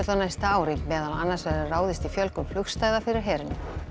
næsta ári meðal annars verður ráðist í fjölgun fyrir herinn